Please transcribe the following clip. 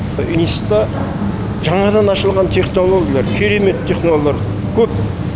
институтта жаңадан ашылған технологиялар керемет технологиялар көп